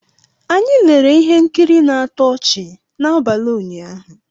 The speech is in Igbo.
Anyị lere ihe nkiri na-atọ ọchị n'abalị ụnyaahụ